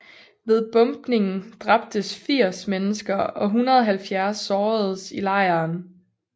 Ved bombningen dræbtes 80 mennesker og 170 såredes i lejren